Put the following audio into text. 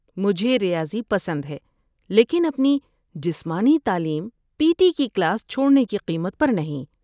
مجھے ریاضی پسند ہے لیکن اپنی جسمانی تعلیم پی ٹی کی کلاس چھوڑنے کی قیمت پر نہیں